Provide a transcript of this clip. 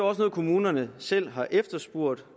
også noget kommunerne selv har efterspurgt